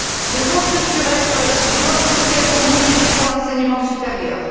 Les Fonds structurels peuvent et doivent aussi être mobilisés pour l'enseignement supérieur.